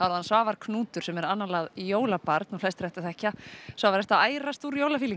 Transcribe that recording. hann Svavar Knútur sem er annálað jólabarn og flestir ættu að þekkja Svavar ertu að ærast úr